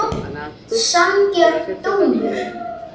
Sanngjarn dómur?